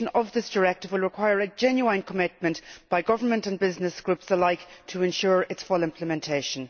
This directive will require a genuine commitment by government and business groups alike to ensure its full implementation.